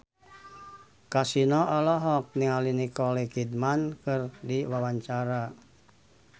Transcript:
Kasino olohok ningali Nicole Kidman keur diwawancara